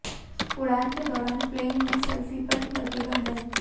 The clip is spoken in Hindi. उड़ान के दौरान प्लेन में सेल्फी पर लगेगा बैन